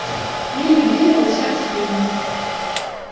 мир вибрировал сердце клинило